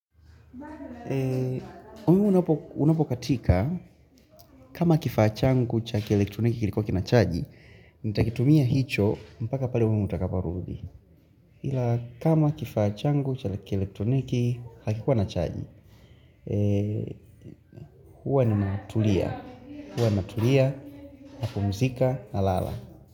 Umeme unapokatika kama kifaa changu cha kielektroniki kilikuwa kinachaji nitakitumia hicho mpaka pale umeme utakaporudi Ila kama kifaa changu cha kielektroniki hakikuwa na chaji Huwa ninatulia Huwa ninatulia, napumzika, nalala.